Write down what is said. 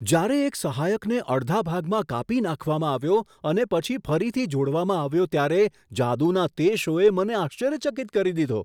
જ્યારે એક સહાયકને અડધા ભાગમાં કાપી નાખવામાં આવ્યો અને પછી ફરીથી જોડવામાં આવ્યો ત્યારે જાદુના તે શોએ મને આશ્ચર્યચકિત કરી દીધો.